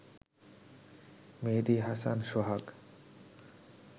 মেহেদি Hasan সোহাগ